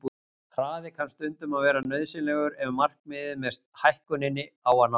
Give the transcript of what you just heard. Hraði kann stundum að vera nauðsynlegur ef markmiðið með hækkuninni á að nást.